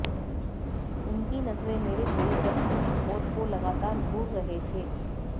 उनकी नजरें मेरे शरीर पर थी और वो लगातार घूर रहे थे